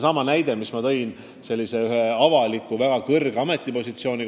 Ma tõin enne näiteks ühe väga kõrge avaliku ametipositsiooni.